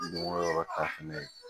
Dugukolo yɔrɔ ta fɛnɛ ye